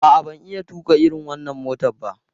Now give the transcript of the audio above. A'a, ban iya tuƙa irin wannan motar ba.